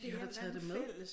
De har taget det med